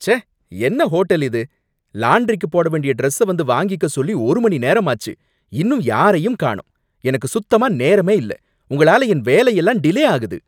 ச்சே! என்ன ஹோட்டல் இது! லான்டிரிக்கு போட வேண்டிய டிரஸ்ஸ வந்து வாங்கிக்க சொல்லி ஒரு மணி நேரம் ஆச்சு, இன்னும் யாரையும் காணும், எனக்கு சுத்தமா நேரமே இல்ல, உங்களால என் வேலையெல்லாம் டிலே ஆகுது.